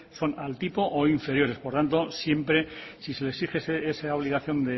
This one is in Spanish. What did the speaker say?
son al tipo o inferiores por tanto siempre si se le exige esa obligación